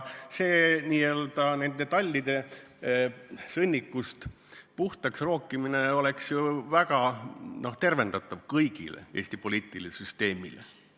See n-ö tallide sõnnikust puhtaks rookimine oleks ju väga tervendav kogu Eesti poliitilisele süsteemile.